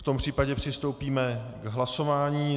V tom případě přistoupíme k hlasování.